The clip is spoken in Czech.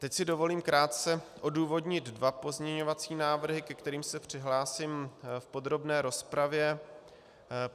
Teď si dovolím krátce odůvodnit dva pozměňovací návrhy, ke kterým se přihlásím v podrobné rozpravě.